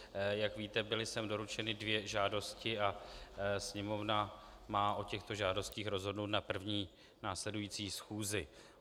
Jak víte, byly sem doručeny dvě žádosti a Sněmovna má o těchto žádostech rozhodnout na první následující schůzi.